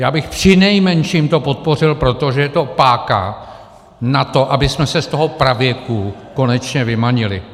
Já bych přinejmenším to podpořil, protože to je páka na to, abychom se z toho pravěku konečně vymanili.